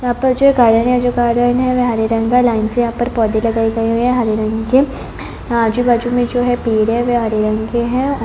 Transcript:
यहाँ पर जो गार्डन है जो गार्डन है वे हरे रंग का लाइन से यहाँ पर पौधे लगाए गए हुए है हरे रंग के आजू-बाजू में जो है पेड़ है वे हरे रंग के है।